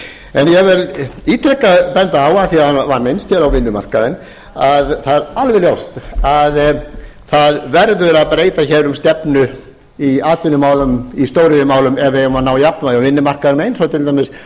en ég vil ítrekað benda á að því það var minnst hér á vinnumarkaðinn að það er alveg ljóst að það verður að breyta hér um stefnu í atvinnumálum í stóriðjumálum ef menn eiga að ná jafnvægi á vinnumarkaði eins og